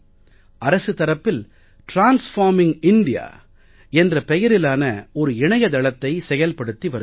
அரசு தரப்பில் transforming India என்ற பெயரிலான ஒரு இணைய தளத்தை செயல்படுத்தி வருகிறோம்